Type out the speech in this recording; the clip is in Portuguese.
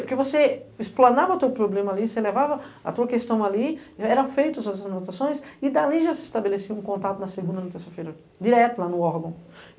Porque você explanava teu problema ali, você levava a tua questão ali, eram feitas as anotações e dali já se estabelecia um contato na segunda, na terça-feira, direto lá no órgão.